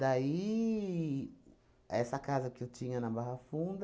Daí, essa casa que eu tinha na Barra Funda,